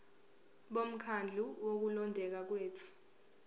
bomkhandlu wokulondeka kwethu